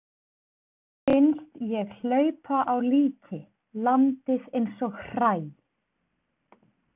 Finnst ég hlaupa á líki, landið eins og hræ.